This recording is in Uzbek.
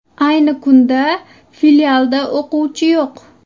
Ayni kunda filialda o‘quvchi yo‘q.